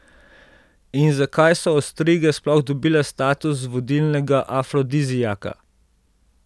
In zakaj so ostrige sploh dobile status vodilnega afrodiziaka?